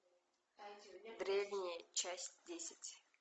древние часть десять